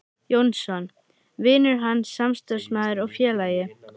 Jónsson: vinur hans, samstarfsmaður og félagi.